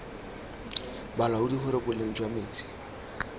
balaodi gore boleng jwa metsi